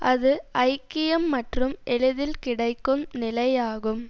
அது ஐக்கியம் மற்றும் எளிதில் கிடைக்கும் நிலை யாகும்